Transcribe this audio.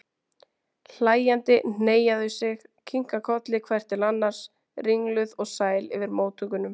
Hlæjandi hneigja þau sig, kinka kolli hvert til annars, ringluð og sæl yfir móttökunum.